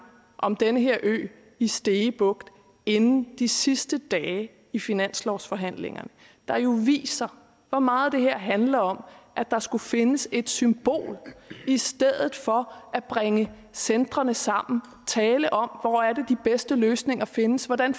om den her ø i stege bugt inden de sidste dage i finanslovsforhandlingerne der jo viser hvor meget det her handler om at der skulle findes et symbol i stedet for at bringe centrene sammen tale om hvor det er de bedste løsninger findes hvordan